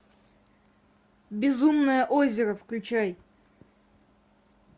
безумное озеро включай